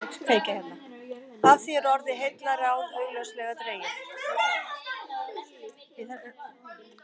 Af því er orðið heillaráð augljóslega dregið.